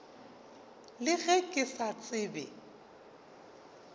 le ge ke sa tsebe